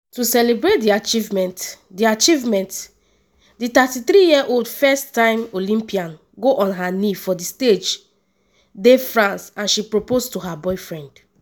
to celebrate di achievement di achievement di 33-year-old first-time olympian go on her knee for di stage de france and she propose to her boyfriend.